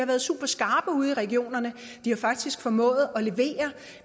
været superskarpe ude i regionerne de har faktisk formået at levere